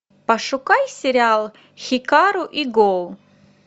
пошукай сериал хикару и го